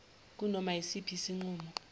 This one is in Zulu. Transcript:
kunoma yisiphi isinqumo